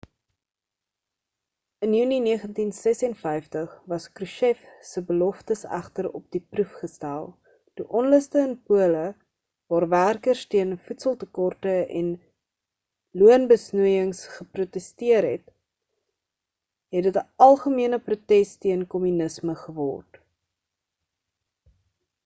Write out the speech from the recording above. in junie 1956 was krushchev se beloftes egter op die proef gestel toe onluste in pole waar werkers teen voedseltekorte en loonbesnoeiings geprotesteer het het dit'n algemene protes teen kommunisme geword